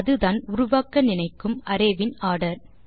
அதுதான் உருவாக்க நினைக்கும் அரே வின் ஆர்டர்